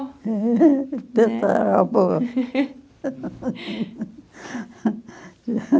É tararavó